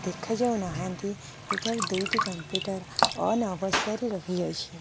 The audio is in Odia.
ଦେଖାଯାଉ ନାହାଁନ୍ତି ଏଠାରେ ଦୁଇଟି କମ୍ପୁଟର ଓନ ଅବସ୍ତାରେ ରହିଅଛି।